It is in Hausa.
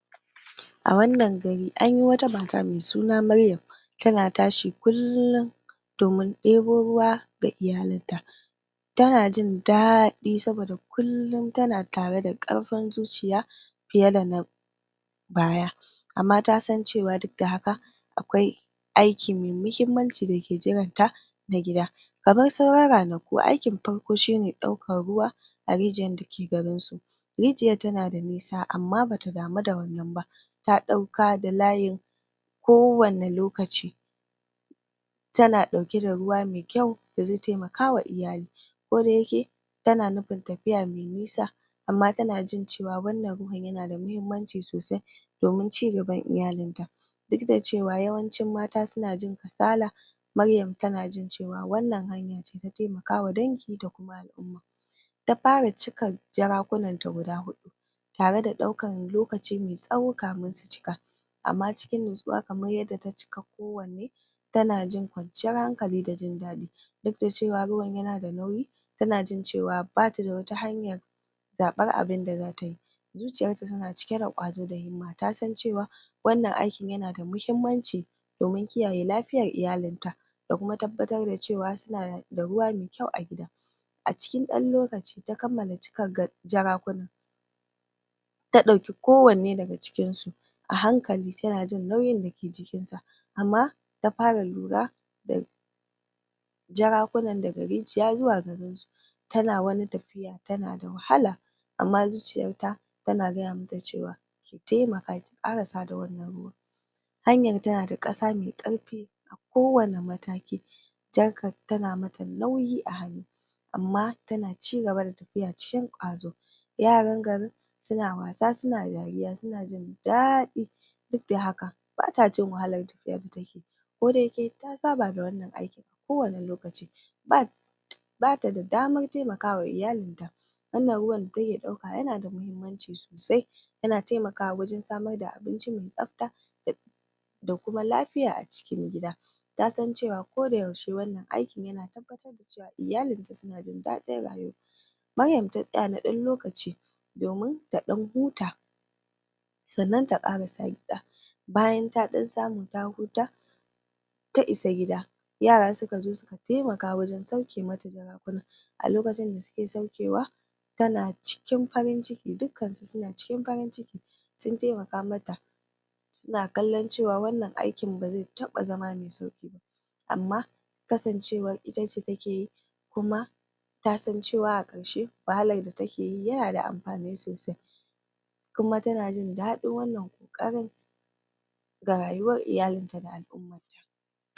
A wannan gari anyi wata mata mai sunan Maryam tana tashi kullin domin ɗebo ruwa da iyalan ta tana jin daɗi saboda kullin tana tare da ƙarfin zarfin zuciya fiye dana baya amma tasan cewa duk da haka akwai aiki mai mahimmanci dake jiran ta na gida kamar sauran ranaku aikin farko shine ne ɗauka ruwa a rijiyar da take garin su rijiyar tana da nisa amma bata damu da wannan ba ta ɗauka da layin kowanne lokaci tana ɗauke da ruwa mai kyau da zai taimakawa iyali koda yake tana nufin tafiya mai nisa amma tana jin cewa wannan ruwan yana da mahimmanci sosai domin cigban iyalin ta duk da cewa yawancin mata suna jin kasala Maryam tana jin cewa wannan hanya ce taimakawa dangi da al'umma ta fara cika jarakuna ta guda huɗu tare da ɗaukan lokaci mai tsawo kamin su cika amma cikin nutsuwa kamar yadda ta cika kowanne tana jin kwanciyar hankali da jin daɗi duk da cewa ruwan yana da nauyi tana jin cewa bata da wata hanya zaɓar abinda zata yi zuciyar ta tana cike da ƙwazo da himma tasan cewa wannan aikin yana da mahimmanci domin kiyaya lafiyar iyalin ta da kuma tabbatar da cewa suna da ruwa mai kyau a gida a cikin ɗan lokaci ta kammala cika gan jarakuna ta ɗauki kowanne daga cikin su a hankali tana jin nauyin dake jikin sa amma ta fara lura da Jarakunan daga rijiya zuwa garin sa tana wani tafiya tana da wahala amma zuciyarta tana gaya mata cewa ki taimaka ki ƙarasa da wannan ruwan hanyar tana da ƙasa mai ƙarfi a kowanne mataki jarkar tana mata nauyi a hannu amma tana cigaba da tafiya cikin kwazo yaran garin suna wasa suna dariya suna jin daɗi duk da haka bata jin wahala tafiyar da take koda yake ta saba da wannan aikin a kowanne lokaci um bata da damar taimakawa iyalin ta wannan ruwan da take ɗauka yana da mahimmanci yana taimakawa wajan samar da abinci mai tsafta da da kuma lafiya a cikin gida tasan cewa koda yaushe wannan aiki yana tabbatar da cewa iyalin ta su-na jin daɗin rayuwa Maryam ta tsaya da ɗan lokaci domin ta ɗan huta sannan ta ƙarasa gida bayan ta ɗan samu ta huta ta isa gida yara saka zo suka taimaka wajan saukemata jaraku nan, a lokacin da sukesaukewa tana cikin farin ciki, duk kansu suna cikin farin ciki sun taimaka mata suna kallon cewa wannan aikin ba zai taɓa zama mai sauƙi ba amma kasancewar itace take yi kuma tasan cewar a ƙarshe wahalar da take yi yana da amfani sosai kuma tana jin daɗin wanna ƙoƙarin ga rayuwar iyalin ta da al'ummar ta